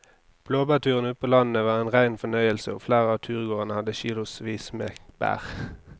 Blåbærturen ute på landet var en rein fornøyelse og flere av turgåerene hadde kilosvis med bær.